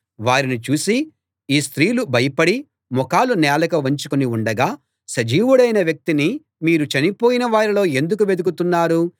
వారిని చూసి ఈ స్త్రీలు భయపడి ముఖాలు నేలకు వంచుకుని ఉండగా వారు సజీవుడైన వ్యక్తిని మీరు చనిపోయిన వారిలో ఎందుకు వెదుకుతున్నారు